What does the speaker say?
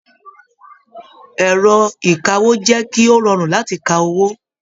Ẹrọ ìkáwó jẹ kí o rọrun láti kà owó.